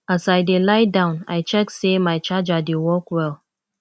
as i dey lie down i check say my charger dey work well